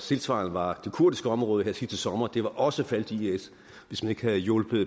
tilsvarende var det kurdiske område sidste sommer også faldet til is hvis man ikke have hjulpet